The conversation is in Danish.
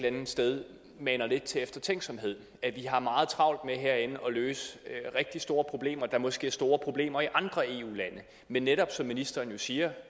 andet sted maner lidt til eftertænksomhed at vi har meget travlt med herinde at løse rigtig store problemer der måske er store problemer i andre eu lande men netop som ministeren jo siger